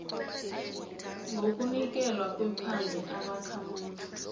ngokunikelwa kwephandle ubakhamuzi